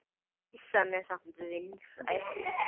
Ýsan er samt vinsæl.